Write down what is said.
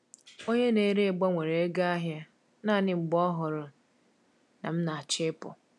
Onye na-ere gbanwere ego ahị a naanị mgbe ọ hụrụ na m na-achọ ịpụ.